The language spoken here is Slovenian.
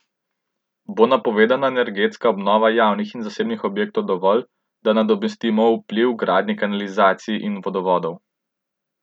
Bo napovedana energetska obnova javnih in zasebnih objektov dovolj, da nadomestimo vpliv gradnje kanalizacij in vodovodov?